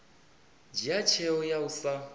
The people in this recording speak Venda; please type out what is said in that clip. dzhia tsheo ya u sa